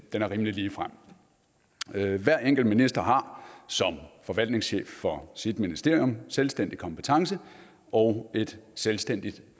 er rimelig ligefrem hver enkelt minister har som forvaltningschef for sit ministerium en selvstændig kompetence og et selvstændigt